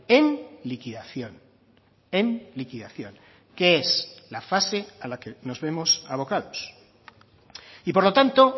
en liquidación en liquidación que es la fase a la que nos vemos avocados y por lo tanto